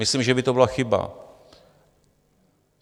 Myslím, že by to byla chyba.